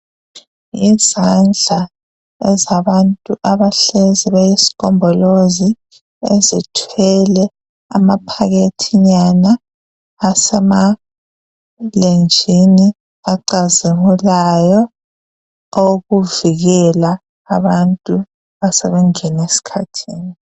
Izandla ezabantu abahlezi beyisgombolozi ezithwele amaphakethi nyana asemalenjini acazimulayo okuvikela abantu asebengene esikhathini.